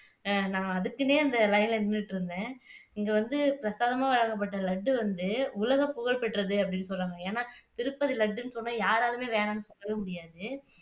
அஹ் நான் அதுக்குன்னே அந்த லைன்ல நின்னுகிட்டு இருந்தேன் இங்க வந்து பிரசாதமா வழங்கப்பட்ட லட்டு வந்து உலகப்புகழ் பெற்றது அப்படின்னு சொல்றாங்க ஏன்னா திருப்பதி லட்டுன்னு சொன்னா யாராலுமே வேணாம்னு சொல்ல முடியாது